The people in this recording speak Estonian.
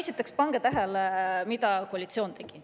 Esiteks pange tähele, mida koalitsioon tegi.